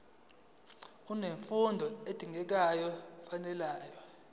unemfundo edingekayo nefanele